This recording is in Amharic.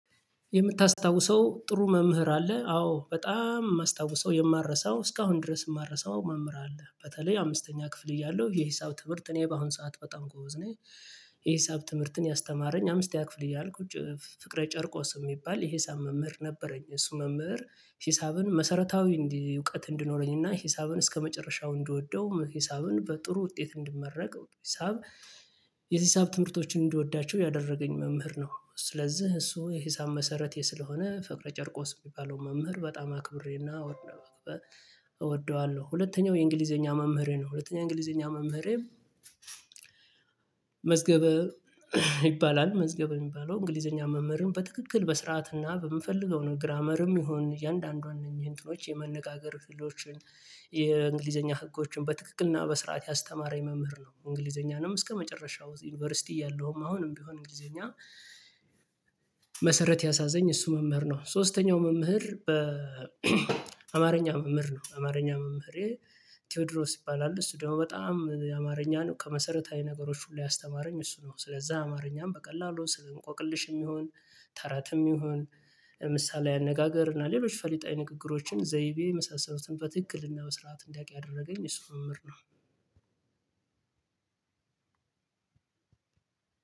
የምታስታውሰው ጥሩ መምህር አለ አዎ በጣም የማስታውሰው የማረሳው እስካሁን ድረስ የማልረሳው መምህር አለ በተለይ አምስተኛ ክፍል እያለሁ የሂሳብ ትምህርት እኔ በአሁን ሰዓት በጣም ጎበዝ ነኝ። የሂሳብ ትምህርትን ያስተማረኝ አምስተኛ ክፍል ያልኩት ፍቅረ ጨርቆስ የሚባል የሂሳብ መምህር ነበረኝ እሱ መምህር ሂሳብን መሰረታዊ እንዲ እውቀት እንዲኖረኝና ሂሳብን እስከመጨረሻው እንድወደው ሂሳብን በጥሩ ውጤት እንድመረቅ ሂሳብ የሂሳብ ትምህርቶችን እንዲወዳቸው ያደረገኝ መምህር ነው። ስለዚህ እሱ የሂሳብ መሰረቴ ስለሆነ ፍቅረ ጨርቆስ የሚባለውን መምህር በጣም አክብሬና እወደዋለሁ። ሁለተኛው የእንግሊዘኛ መምህሬ ነው ሁለተኛ እንግሊዘኛ መምህሬ። መዝገበ ይባላል መዝገበ የሚባለው እንግሊዘኛ መምህርን በትክክል በስርዓትና በምፈልገው ነው ግራመርም ይሁን እያንዳንዱን እነኚህን እንትኖች የመነጋገር ፊልዶችን የእንግሊዘኛ ህጎችን በትክክልና በስርዓት ያስተማረኝ መምህር ነው። እንግሊዘኛንም እስከመጨረሻው ዩኒቨርሲቲ እያለሁም አሁንም ቢሆን እንግሊዘኛ መሰረት ያስያዘኝ እሱ መምህር ነው። ሶስተኛው መምህር በ አማርኛ መምህር ነው አማርኛ መምህሬ ቴዎድሮስ ይባላል። እሱ ደግሞ በጣም አማርኛ ነው ከመሰረታዊ ነገሮች ሁሉ ያስተማረኝ እሱ ነው። ስለዛ አማርኛም በቀላሉ ስል እንቆቅልሽም ይሁን ተረትም ይሁን ለምሳሌ አነጋገር እና ሌሎች ፈሊጣዊ ንግግሮችን ዘይቤ የመሳሰሉትን በትክክል እና በስርዓት እንዲያቅ ያደረገኝ እሱ መምሕምር ነው።